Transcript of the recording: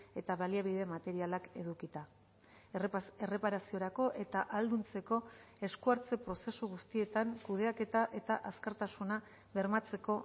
eta baliabide materialak edukita erreparaziorako eta ahalduntzeko esku hartze prozesu guztietan kudeaketa eta azkartasuna bermatzeko